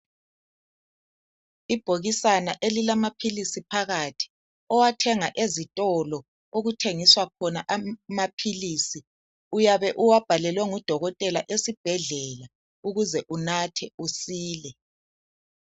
Ibhokisana elilamaphilisi phakathi owathenga ezitolo okuthengiswa khona amaphilisi uyabe uwabhalelwe ngudokotela esibhedlela ukuze unathe usile.